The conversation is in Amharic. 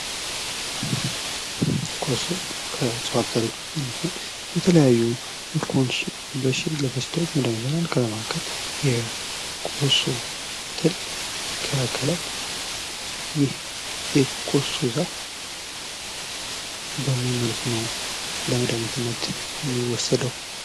ኮሶ ከእጽዋት አይነቶች ውስጥ አንዱ ሲሆን ለተለያዩ በሽታዎች መድኃኒትነት ይሆናል ከነዛ መካከል የኮሶ ትልን ይከላከላል ፤ ይህ የኮሶ ዛፍ በምን መልኩ ነው ለመድሀኒትነት የሚወሰደው?